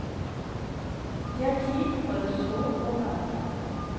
Det er tid for å så og plante.